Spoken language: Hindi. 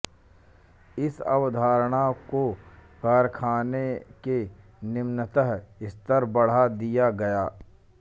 इस अवधारणा को कारखाने के निम्नतम् स्तर बढ़ा दिया गया